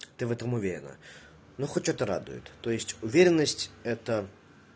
ты в этом уверена ну хоть что-то радует то есть уверенность это